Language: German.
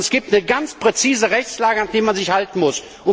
Es gibt eine ganz präzise Rechtslage, an die man sich halten muss.